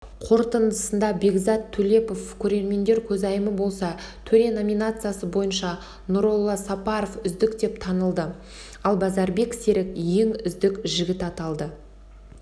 қорытындысында бекзат төлепов көрермендер көзайымы болса төре номинациясы бойынша нұролла сапаров үздік деп танылды ал базарбек серік ең үздік жігіт аталды